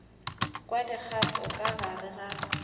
kwa dikgato ka gare ga